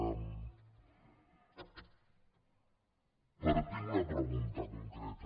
partim d’una pregunta concreta